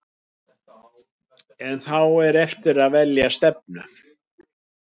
En þá er eftir að velja stefnu.